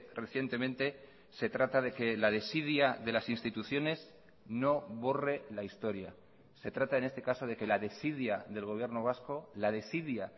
recientemente se trata de que la desidia de las instituciones no borre la historia se trata en este caso de que la desidia del gobierno vasco la desidia